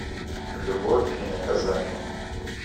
любовь и наказание